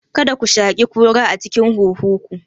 Kada ku shaƙi ƙura a cikin huhu ku!